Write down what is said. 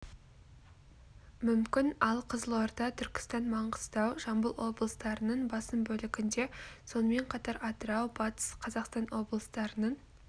мүмкін ал қызылорда түркістан маңғыстау жамбыл облыстарының басым бөлігінде сонымен қатар атырау батыс қазақстан облыстарының